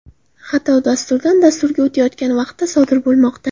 Xato dasturdan dasturga o‘tayotgan vaqtda sodir bo‘lmoqda.